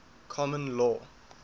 common law